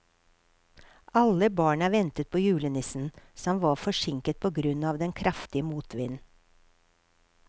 Alle barna ventet på julenissen, som var forsinket på grunn av den kraftige motvinden.